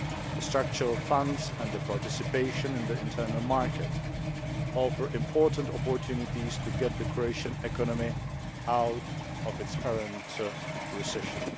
The structural funds and participation in the internal market offer important opportunities to get the Croatian economy out of its current recession.